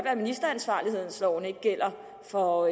at ministeransvarlighedsloven ikke gælder for